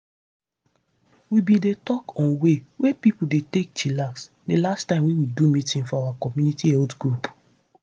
we bin dey talk on way wey pipo dey take dey chillax di last time wey we do meeting for our community health group.